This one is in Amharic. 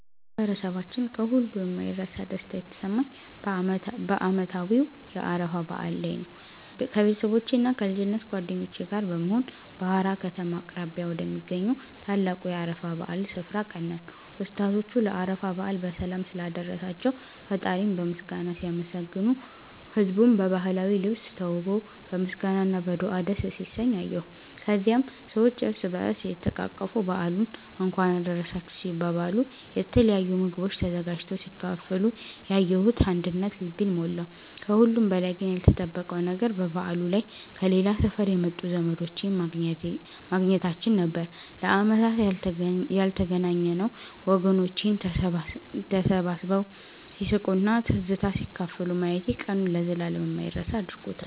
በማህበረሰባችን ከሁሉ የማይረሳ ደስታ የተሰማኝ በዓመታዊው የአረፋ በዓል ላይ ነበር። ከቤተሰቦቼና ከልጅነት ጓደኞቼ ጋር በመሆን በሃራ ከተማ አቅራቢያ ወደሚገኘው ታላቁ የአረፋ በዓል ስፍራ አቀናን። ኡስታዞቹ ለአረፋ በዓል በሰላም ስላደረሳቸው ፈጣሪን በምስጋና ሲያመሰግኑ፣ ህዝቡም በባህላዊ ልብስ ተውቦ በምስጋና እና በዱዓ ደስ ሲሰኝ አየሁ። ከዚያም ሰዎች እርስ በእርስ እየተቃቀፉ በዓሉን እንኳን አደረሳችሁ ሲባባሉ፣ የተለያዩ ምግቦች ተዘጋጅተው ሲካፈሉ ያየሁት አንድነት ልቤን ሞላው። ከሁሉም በላይ ግን ያልተጠበቀው ነገር በበዓሉ ላይ ከሌላ ሰፈር የመጡ ዘመዶቼን ማግኘታችን ነበር፤ ለዓመታት ያልተገናኘነው ወገኖቼን ተሰባስበው ሲስቁና ትዝታ ሲካፈሉ ማየቴ ቀኑን ለዘላለም የማይረሳ አድርጎታል።